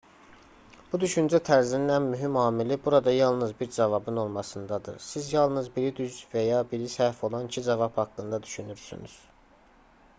bu düşüncə tərzinin ən mühüm amili burada yalnız bir cavabın olmasındadır siz yalnız biri düz və ya biri səhv olan iki cavab haqqında düşünürsünüz